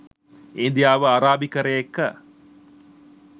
ඉන්දියාව අරාබිකරය එක්ක